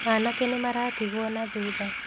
Anake nĩ maratigwo na thutha